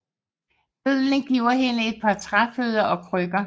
Bøddelen giver hende et par træfødder og krykker